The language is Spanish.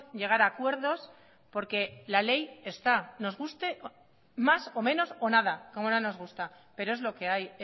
llegar a acuerdos porque la ley está nos guste más o menos o nada como no nos gusta pero es lo que hay